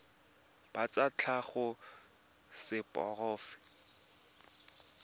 ba tsa tlhago ba seporofe